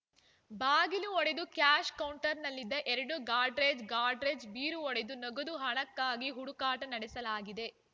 ಬಾಗಿಲು ಒಡೆದು ಕ್ಯಾಷ್‌ ಕೌಂಟರ್‌ನಲ್ಲಿದ್ದ ಎರಡು ಗಾಡ್ರೇಜ್‌ ಗಾಡ್ರೇಜ್‌ ಬೀರು ಒಡೆದು ನಗದು ಹಣಕ್ಕಾಗಿ ಹುಡುಕಾಟ ನಡೆಸಲಾಗಿದೆ